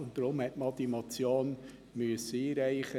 Deswegen musste man die Motion einreichen.